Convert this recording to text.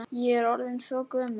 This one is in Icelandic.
Ég er orðin svo gömul.